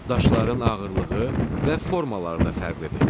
Daşların ağırlığı və formaları da fərqlidir.